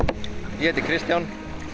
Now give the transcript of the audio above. ég heiti Kristján